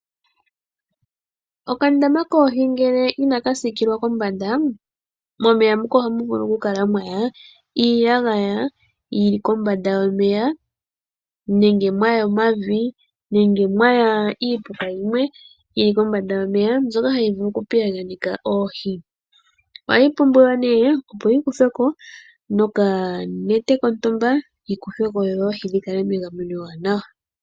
Okandama koohi ngele inaka sikilwa kombanda momeya muka ohamu vulu kala mwaya iyagaya yili kombanda yomeya nenge mwaya omavi nenge mwaya iipuka yimwe yili kombanda yomeya mbyoka hayi vulu okupiyaganeka oohi ohayi pumbiwa nee opo yi kuthweko noka nete kontumba yikuthweko dhoohi dhikale megameno ewanawa.